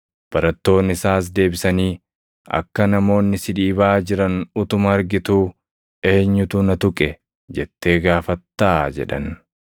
Barattoonni isaas deebisanii, “Akka namoonni si dhiibaa jiran utuma argituu, ‘Eenyutu na tuqe?’ jettee gaafattaa?” jedhan.